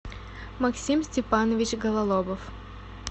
максим степанович гололобов